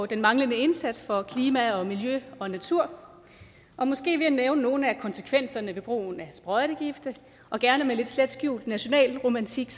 den manglende indsats for klima og miljø og natur og måske ville jeg nævne nogle af konsekvenserne ved brugen af sprøjtegifte og gerne med lidt slet skjult nationalromantik